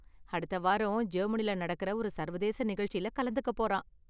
அடுத்த வாரம் ஜெர்மனியில நடக்கற ஒரு சர்வதேச நிகழ்ச்சில கலந்துக்க போறான்.